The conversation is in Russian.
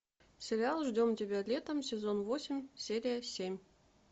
сериал ждем тебя летом сезон восемь серия семь